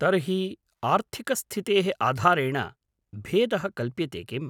तर्हि, आर्थिकस्थितेः आधारेण भेदः कल्प्यते किम्?